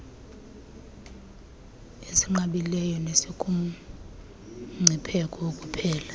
esinqabileyo nesikumngcipheko wokuphela